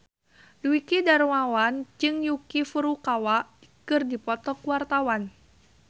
Dwiki Darmawan jeung Yuki Furukawa keur dipoto ku wartawan